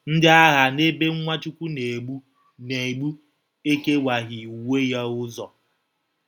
Ndị agha n’ebe Nwachukwu na-egbu na-egbu ekewaghị uwe ya ụzọ.